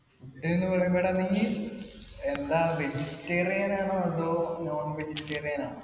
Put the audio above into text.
food ന്ന് പറയുമ്പോ എടാ നീ എന്താണ് vegetarian ആണോ അതോ non vegetarian ആണോ